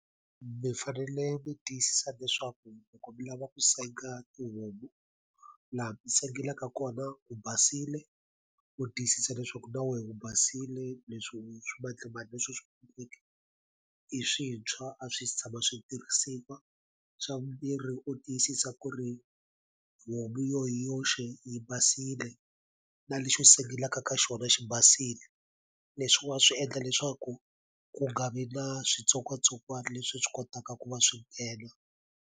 Mi fanele mi tiyisisa leswaku loko mi lava ku senga tihomu laha mi sengelaka kona ku basile u tiyisisa leswaku na we u basile leswi swimadlamandla leswi i swintshwa a swi si tshama swi tirhisiwa xa vumbirhi u tiyisisa ku ri homu yo hi yoxe yi basile na lexi u sengelaka ka xona xi basile leswi u nga swi endla leswaku ku nga vi na switsongwatsongwani leswi swi kotaka ku va swi nghena.